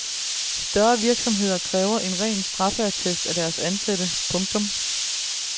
Større virksomheder kræver en ren straffeattest af deres ansatte. punktum